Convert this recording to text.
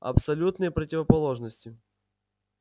абсолютные противоположности